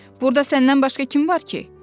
Burda səndən başqa kim var ki?